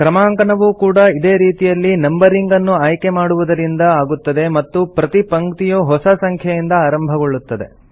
ಕ್ರಮಾಂಕನವೂ ಕೂಡಾ ಇದೇ ರೀತಿಯಲ್ಲಿ ನಂಬರಿಂಗ್ ನ್ನು ಆಯ್ಕೆ ಮಾಡುವುದರಿಂದ ಆಗುತ್ತದೆ ಮತ್ತು ಪ್ರತಿ ಪಂಕ್ತಿಯೂ ಹೊಸ ಸಂಖ್ಯೆಯಿದ ಆರಂಭಗೊಳ್ಳುತ್ತದೆ